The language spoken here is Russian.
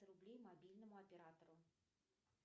рублей мобильному оператору